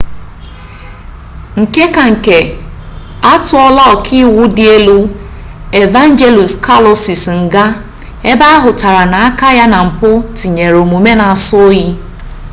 nke ka nke atuola oka-iwu di elu evangelos kalousis nga ebe ahutara na aka ya na mpu tinyere omume na aso-oyi